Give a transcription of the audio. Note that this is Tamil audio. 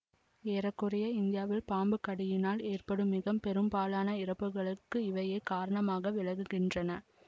ஏற குறைய இந்தியாவில் பாம்புக்கடியினால் ஏற்படும் மிக பெரும்பாலான இறப்புக்களுக்கும் இவையே காரணமாக விளங்குகின்றன